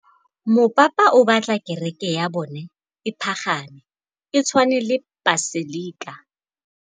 Mopapa o batla kereke ya bone e pagame, e tshwane le paselika.